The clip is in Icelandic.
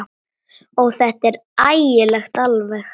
Ó, þetta er ægilegt alveg.